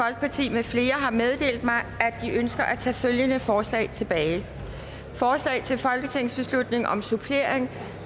med flere har meddelt mig at de ønsker at tage følgende forslag tilbage forslag til folketingsbeslutning om supplering